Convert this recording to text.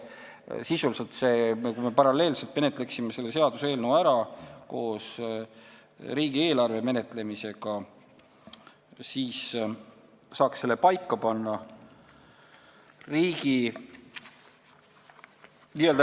Kui me menetleksime seda seaduseelnõu paralleelselt riigieelarvega, siis me saaks selle paika panna.